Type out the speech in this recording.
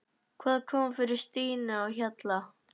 Hvað kom fyrir Stínu á Hjalla?